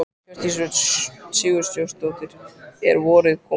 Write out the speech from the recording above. Hjördís Rut Sigurjónsdóttir: Er vorið komið?